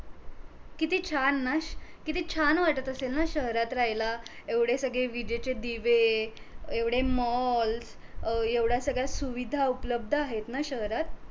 किती छान ना, किती छान वाटत असेल ना शहरात रहायला एवढे सगळे विजेचे दिवे एवढे malls अं एवढया सगळ्या सुविधा उपलबध आहेत ना शहरात